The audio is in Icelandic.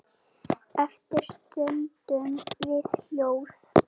Eftir stöndum við hljóð.